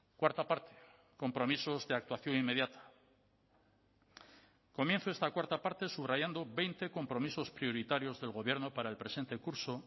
cuarta parte compromisos de actuación inmediata comienzo esta cuarta parte subrayando veinte compromisos prioritarios del gobierno para el presente curso